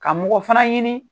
Ka mɔgɔ fana ɲini